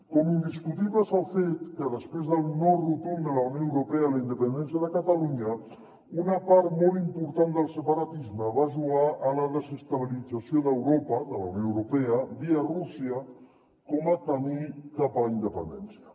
com indiscutible és el fet que després del no rotund de la unió europea a la independència de catalunya una part molt important del separatisme va jugar a la desestabilització d’europa de la unió europea via rússia com a camí cap a la independència